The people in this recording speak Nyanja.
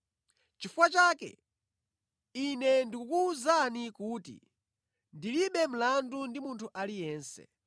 Chifukwa chake, ine ndikukuwuzani lero kuti ndilibe mlandu ndi munthu aliyense.